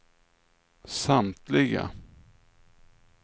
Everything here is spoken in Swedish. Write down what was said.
samtliga